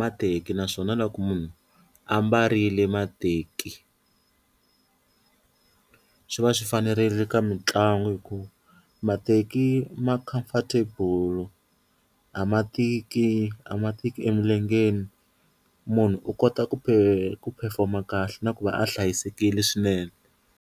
mateki naswona loko munhu a mbarile mateki swi va swi fanerile ka mitlangu hikuva mateki ma comfortable a ma tiki a ma tiki emilengeni, munhu u kota ku ku phefoma kahle na ku va a hlayisekile swinene.